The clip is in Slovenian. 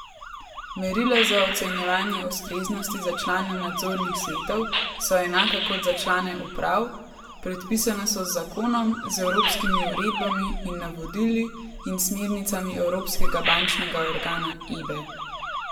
Merila za ocenjevanje ustreznosti za člane nadzornih svetov so enaka kot za člane uprav, predpisana so z zakonom, z evropskimi uredbami in navodili in smernicami evropskega bančnega organa Ebe.